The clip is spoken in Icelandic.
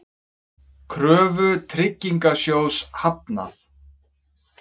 Kröfu Tryggingasjóðs hafnað